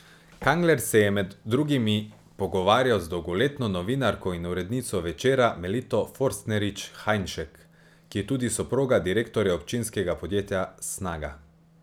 Kangler se je med drugimi pogovarjal z dolgoletno novinarko in urednico Večera, Melito Forstnerič Hajnšek, ki je tudi soproga direktorja občinskega podjetja Snaga.